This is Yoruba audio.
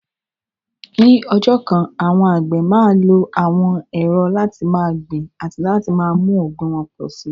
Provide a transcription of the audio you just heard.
Ní ọjọ́ kan, àwọn àgbẹ̀ máa lo àwọn ẹ̀rọ láti máa gbin àti láti mú ọ̀gbìn wọn pọ̀ sí i.